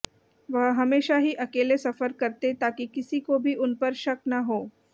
वह हमेशा ही अकेले सफर करते ताकि किसी को भी उन पर शक न हो